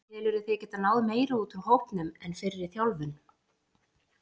Telurðu þig geta náð meiru út úr hópnum en fyrri þjálfari?